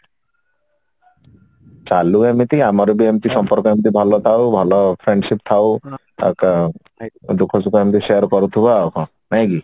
ଚାଲୁ ଏମିତି ଆମର ବି ଏମିତି ସମ୍ପର୍କ ଏମିତି ଭଲ ଥାଉ ଭଲ friendship ଥାଉ ଆଉ କଣ ଦୁଖ ସୁଖ ଏମିତି share କରୁଥିବା ଆଉ କଣ ନାଇକି?